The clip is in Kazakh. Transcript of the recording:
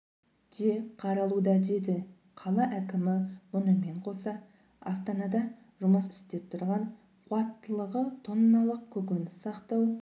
де қаралуда деді қала әкімі мұнымен қоса астанада жұмыс істеп тұрған қуаттылығы тонналық көкөніс сақтау